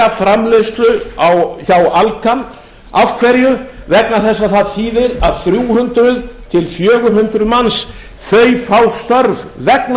framleiðslu hjá alcan af hverju vegna þess að það þýðir að þrjú hundruð til fjögur hundruð manns fá störf vegna